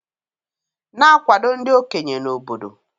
Na-akwado ndị okenye na obodo.